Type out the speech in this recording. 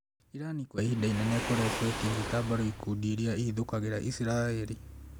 Irani kwa ihinda inene ĩkoretwo ĩkĩnyita mbaru ikundi irĩa ihithũkagĩra Isiraĩri